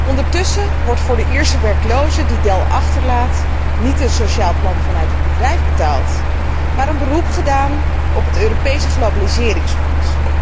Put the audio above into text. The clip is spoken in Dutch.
Ondertussen wordt voor de Ierse werkelozen die Dell achterlaat niet een sociaal plan vanuit het bedrijf betaald, maar een beroep gedaan op het Europese globaliseringsfonds.